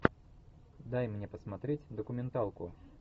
дай мне посмотреть документалку